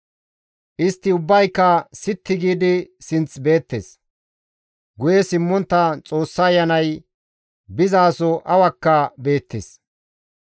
Istti ubbayka sitti giidi sinth beettes; guye simmontta Xoossa Ayanay bizaso awakka beettes.